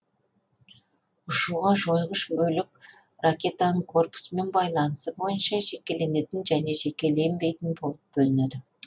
ұшуда жойғыш бөлік ракетаның корпусымен байланысы бойынша жекеленетін және жекеленбейтін болып бөлінеді